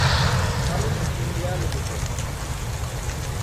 Cummins India limited